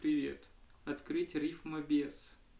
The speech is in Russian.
привет открыть рифмабес